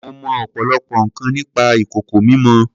Mo mọ ọ̀pọ̀lọpọ̀ nǹkan nípa ìkòkò mímọ.